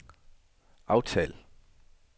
aftal